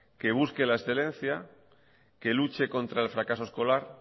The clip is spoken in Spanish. que busque la excelencia que luche contra el fracaso escolar